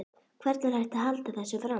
Hvernig er hægt að halda þessu fram?